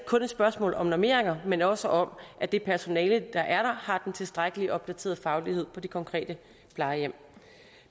kun et spørgsmål om normeringer men også om at det personale der er der har den tilstrækkelige opdaterede faglighed på det konkrete plejehjem